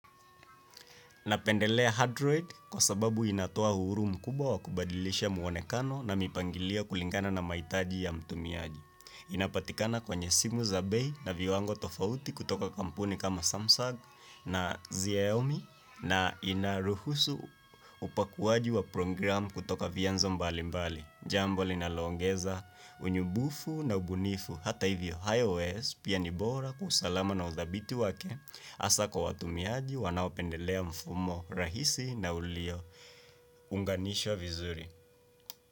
Napendelea android kwa sababu inatoa uhuru mkubwa wa kubadilisha mwonekano na mipangilio kulingana na mahitaji ya mtumiaji. Inapatikana kwenye simu za bei na viwango tofauti kutoka kampuni kama Samsung na Xiaomi na inaruhusu upakuaji wa program kutoka vianzo mbali mbali. Jambo linaloongeza unyumbufu na ubunifu hata hivyo IOS pia ni bora kwa usalama na udhabiti wake hasa kwa watumiaji wanaopendelea mfumo rahisi na uliyounganishwa vizuri.